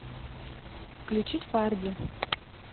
включить фарди